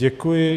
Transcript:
Děkuji.